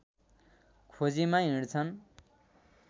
खोजीमा हिँड्छन्